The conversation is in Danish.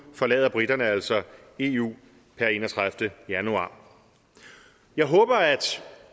forlader briterne altså eu per enogtredivete januar jeg håber at